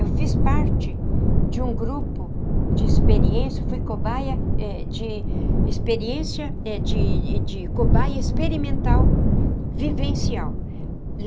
Eu fiz parte de um grupo de experiência, fui cobaia eh de experiência, eh de de cobaia experimental, vivencial.